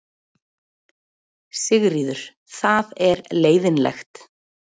Sigríður: Það er leiðinlegt?